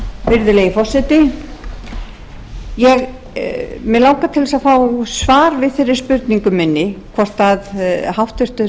virðulegi forseti mig langar til að fá svar við þeirri spurningu minni hvort hæstvirtur